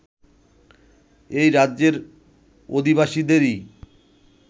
এই রাজ্যের অধিবাসীদেরই